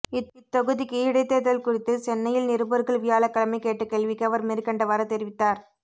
இத்தொகுதிக்கு இடைத் தோ்தல் குறித்து சென்னையில் நிருபா்கள் வியாழக்கிழமை கேட்ட கேள்விக்கு அவா் மேற்கண்டவாறு தெரிவித்தாா்